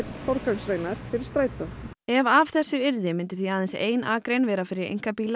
forgangsakreinar fyrir Strætó ef af þessu yrði myndi því aðeins ein akrein vera fyrir einkabíla á